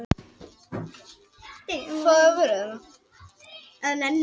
Sem og á samstarfi á Norðurslóðum